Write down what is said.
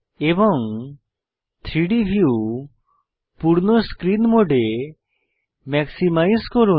এবং 3ডি ভিউ পূর্ণ স্ক্রীন মোডে ম্যাক্সিমাইজ করুন